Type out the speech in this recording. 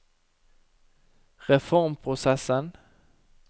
reformprosessen